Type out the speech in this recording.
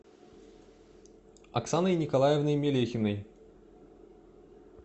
оксаной николаевной мелехиной